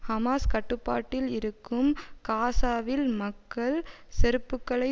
Hamas கட்டுப்பாட்டில் இருக்கும் காசாவில் மக்கள் செருப்புக்களை